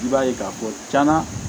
I b'a ye k'a fɔ cɛna